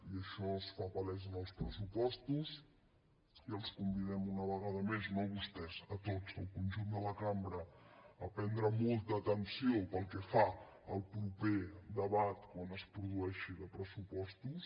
i això es fa palès en els pressupostos i els convidem una vegada més no a vostès a tots al conjunt de la cambra a prendre molta atenció pel que fa al proper debat quan es produeixi de pressupostos